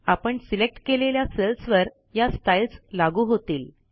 आपण सिलेक्ट केलेल्या सेल्सवर या स्टाईल्स लागू होतील